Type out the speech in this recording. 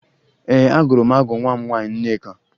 Ee, agụrụ m agụ nwa m nwaanyị Nneka